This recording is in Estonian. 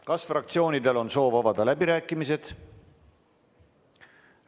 Kas fraktsioonidel on soov avada läbirääkimised?